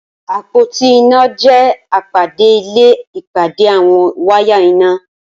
Apótí iná jẹ̀ ápádé ilé ipàdé awọn wàyá iná